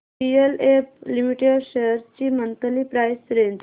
DLF limited shares ची monthly price range